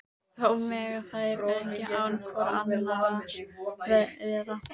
Þó mega þær ekki án hvor annarrar vera.